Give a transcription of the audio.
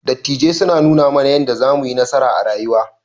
Dattijai suna nuna mana yadda zamuyi nasara a rayuwa.